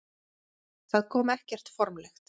Það kom ekkert formlegt.